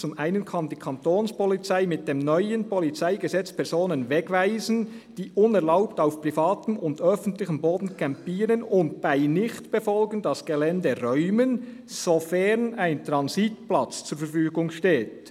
Zum einen kann die Kantonspolizei mit dem neuen Polizeigesetz Personen wegweisen, die unerlaubt auf privatem und öffentlichem Boden campieren, und bei Nichtbefolgen das Gelände räumen, sofern ein Transitplatz zur Verfügung steht.